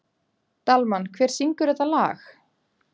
Dalmann, hver syngur þetta lag?